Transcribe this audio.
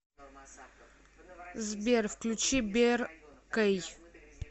сбер включи беркэй